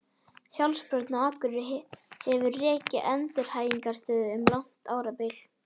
Sjálfsbjörg á Akureyri hefur rekið endurhæfingarstöð um langt árabil.